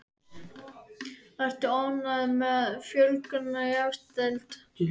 Ertu ánægð með fjölgun í efstu deild?